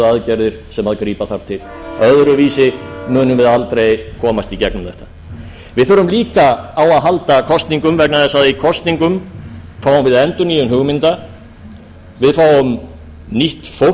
aðgerðir sem þarf að grípa til öðruvísi munum við aldrei komast í gegnum þetta við þurfum líka að á að halda kosningum vegna þess að í kosningum fáum við endurnýjun hugmynda við fáum nýtt